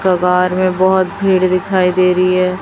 कबार में बोहोत भीड़ दिखाई दे रही है।